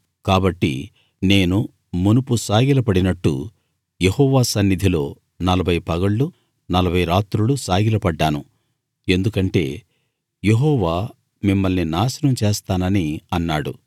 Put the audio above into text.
కాబట్టి నేను మునుపు సాగిలపడినట్టు యెహోవా సన్నిధిలో నలభై పగళ్లు నలభై రాత్రులు సాగిలపడ్డాను ఎందుకంటే యెహోవా మిమ్మల్ని నాశనం చేస్తానని అన్నాడు